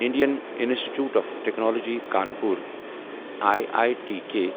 Indian institute of technology Kanpur I I T K